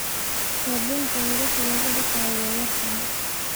Sabunta welasha lakudagayo way yartahy.